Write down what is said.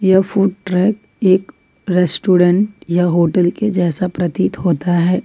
यह food truck एक restaurant या होटल के जैसा प्रतीत होता है।